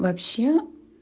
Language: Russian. вообще